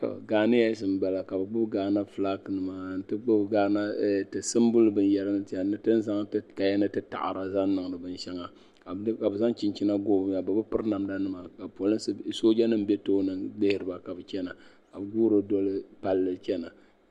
Ghanians m bala. kabi gbubi ghana. fulaaginima ka gbubi tisinbuli binyara n zaya, ni tinizaŋ ti kaya ni ta da zaŋ niŋdi bin shaŋa kabi zaŋ chinchina n goo bi maŋa bibi piri namda nima ka soojanim be tooni lihirima ka bi chana, ka bi guuri doli palli n chana